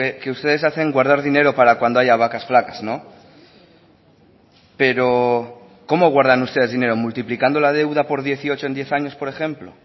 que ustedes hacen guardar dinero para cuando haya vacas flacas pero cómo guardan ustedes dinero multiplicando la deuda por dieciocho en diez años por ejemplo